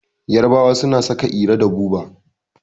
Yarabawa suna saka iro da buba